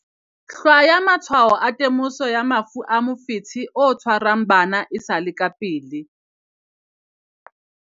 Hlwaya matshwao a temoso ya mafu a mofetshe o tshwarang bana e sa le ka pele